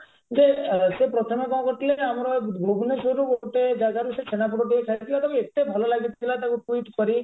ଯେ ସେ ପ୍ରଥମେ କଣ କରିଥିଲେ ନା ଆମର ବୁବନେଶ୍ବରରୁ ଗୋଟେ ଜାଗାରୁ ସେ ଛେନାପୋଡ ଖାଇଥିଲା ତାକୁ ଏତେ ଭଲ ଲାଗିଥିଲା ତାକୁ tweet କରି